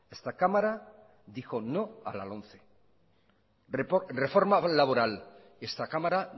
esta cámara dijo no a la lomce reforma laboral esta cámara